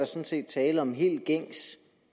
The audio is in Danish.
set tale om en helt gængs